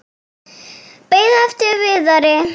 Beið eftir Viðari.